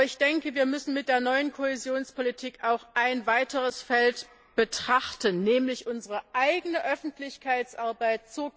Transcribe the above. Aber wir müssen im Zusammenhang mit der neuen Kohäsionspolitik auch ein weiteres Feld betrachten, nämlich unsere eigene Öffentlichkeitsarbeit.